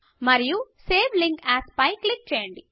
మరియు save link as పై click చేయండి